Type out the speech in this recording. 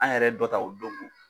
An yɛrɛ ye dɔ ta o dongo